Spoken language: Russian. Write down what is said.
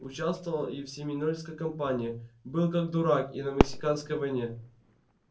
участвовал и в семинольской кампании был как дурак и на мексиканской войне